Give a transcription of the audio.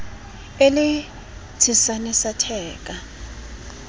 e le tshesane sa theka